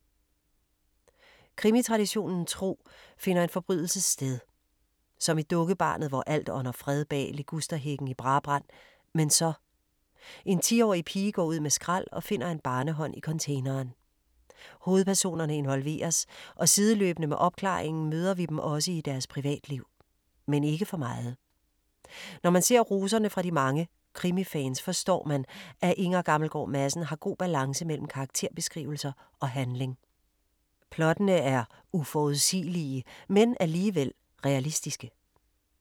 Krimitraditionen tro finder en forbrydelse sted. Som i Dukkebarnet, hvor alt ånder fred bag ligusterhækken i Brabrand. Men så! En tiårig pige går ud med skrald og finder en barnehånd i containeren. Hovedpersonerne involveres og sideløbene med opklaringen møder vi dem også i deres privatliv. Men ikke for meget. Når man ser roserne de fra mange krimifans, forstår man, at Inger Gammelgaard Madsen har god balance mellem karakterbeskrivelser og handling. Plottene er uforudsigelige, men alligevel realistiske.